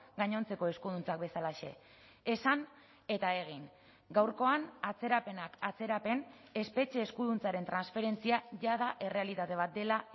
gainontzeko eskuduntzak bezalaxe esan eta egin gaurkoan atzerapenak atzerapen espetxe eskuduntzaren transferentzia jada errealitate bat dela